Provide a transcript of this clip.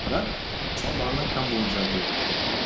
бірақ мысалы бағана камбоджа дедік де